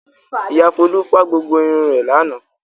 Ìyá Folú fá gbogbo irun rẹ̀ lánàá.